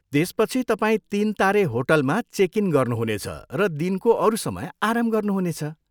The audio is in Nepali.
त्यसपछि तपाईँ तिन तारे होटलमा चेक इन गर्नुहुनेछ र दिनको अरू समय आराम गर्नुहुनेछ।